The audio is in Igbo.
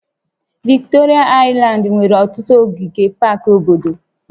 Viktoria aịlandị nwere ọtụtụ ogige pak obodo